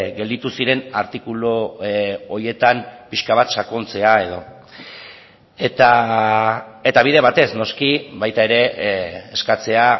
gelditu ziren artikulu horietan pixka bat sakontzea edo eta bide batez noski baita ere eskatzea